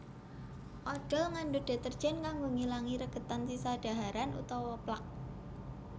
Odhol ngandhut deterjen kanggo ngilangi regedan sisa dhaharan utawa plak